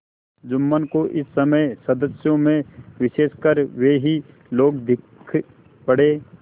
जुम्मन को इस समय सदस्यों में विशेषकर वे ही लोग दीख पड़े